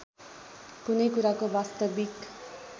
कुनै कुराको वास्तविक